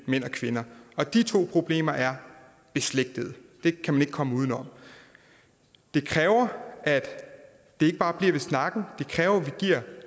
mænd og kvinder og de to problemer er beslægtede det kan man ikke komme uden om det kræver at det ikke bare bliver ved snakken det kræver